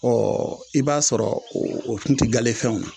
Ɔɔ i b'a sɔrɔ o kun ti galefɛnw ye